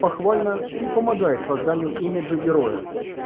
похвально и помогает созданию имиджа героя